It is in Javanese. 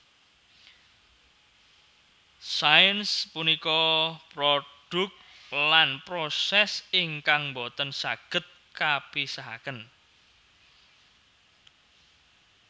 Sains punika produk lan proses ingkang mbotèn sagèd kapisahakèn